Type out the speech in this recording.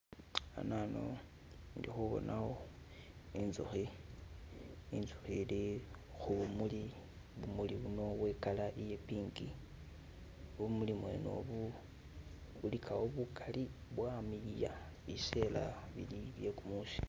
hanano indi khubonawo inzukhi inzukhi ili khubumuli bumuli buno bwe color iye pink bumuli bwene obu bulikhawo bukali bwamiliya biseela bili bye kumusi